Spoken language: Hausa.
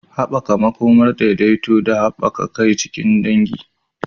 Haɓaka makomar daidaito da haɗa kai a cikin dangi.